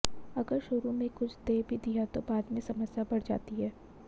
अगर शुरू में कुछ दे भी दिया तो बाद में समस्या बढ़ जाती है